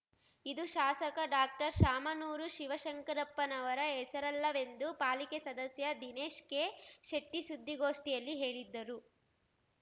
ಇದು ಶಾಸಕ ಡಾಕ್ಟರ್ಶಾಮನೂರು ಶಿವಶಂಕರಪ್ಪನವರ ಹೆಸರಲ್ಲವೆಂದು ಪಾಲಿಕೆ ಸದಸ್ಯ ದಿನೇಶ್ ಕೆಶೆಟ್ಟಿಸುದ್ದಿಗೋಷ್ಠಿಯಲ್ಲಿ ಹೇಳಿದ್ದರು